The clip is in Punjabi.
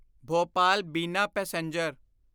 ਭੋਪਾਲ ਬਿਨਾ ਪੈਸੇਂਜਰ